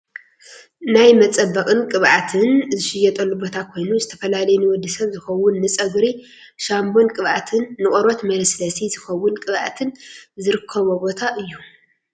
ናይ መፀባበቅን ቅብኣትን ዝሽየጠሉ ቦታ ኮይኑ ዝተፈላለዩ ንወዲ ሰብ ዝከውን ንፀጉሪ ሻንቦን ቅብኣትን ንቆርበት መለስለሲ ዝከውን ቅብኣትን ዝርኮቦ ቦታ እዩ።